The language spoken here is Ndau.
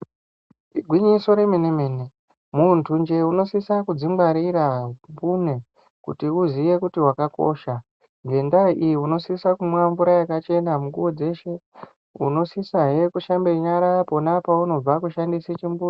Igwinyiso remene- mene, muntunje unosisa kudzingwarira mbune, kuti uziye kuti wakakosha. Ngendaa iyi, unosise kumwe mvura yakachena mukuwo dzeshe, unosisahe kushambe nyara pona paunobva kushandise chimbuzi.